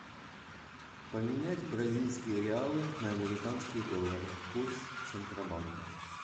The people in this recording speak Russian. поменять бразильские реалы на американские доллары курс центробанка